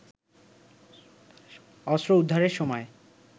অস্ত্র উদ্ধারের সময়